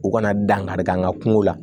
U kana dankari kɛ an ka kungo la